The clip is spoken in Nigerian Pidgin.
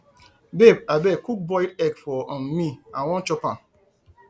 babe abeg cook boiled egg for um me i wan chop am